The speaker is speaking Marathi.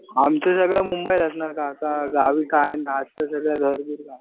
आमची जागा मुंबईलाच ना काका गावी काय नसत सगळं घर बीर गावीच.